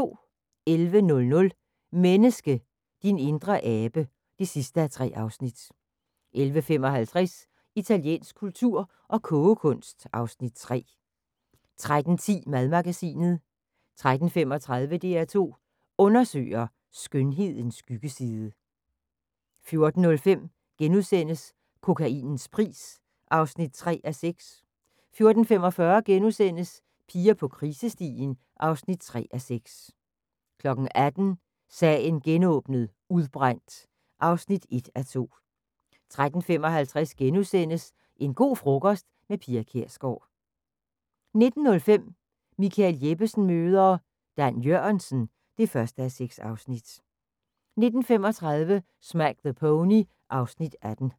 11:00: Menneske – din indre abe (3:3) 11:55: Italiensk kultur og kogekunst (Afs. 3) 13:10: Madmagasinet 13:35: DR2 Undersøger: Skønhedens skyggeside 14:05: Kokainens pris (3:6)* 14:45: Piger på krisestien (3:6)* 18:00: Sagen genåbnet: Udbrændt (1:2) 18:55: En go' frokost – med Pia Kjærsgaard * 19:05: Michael Jeppesen møder ... Dan Jørgensen (1:6) 19:35: Smack the Pony (Afs. 18)